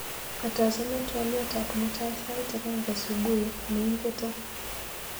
Katachome twaliotab mutai sait agenge subui neingeto